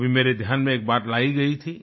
कभी मेरे ध्यान में एक बात लाई गई थी